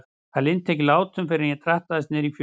Hann linnti ekki látum fyrr en ég drattaðist niður í fjöru.